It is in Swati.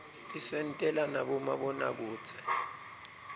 tisentela nabomabonakudze